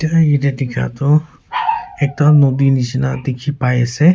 hai yate dikha tu ekta nodi nisna dikhi pai ase.